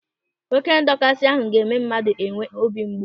Oké ndọkasị ahụ ga-eme mmadụ enwee obi mgbu.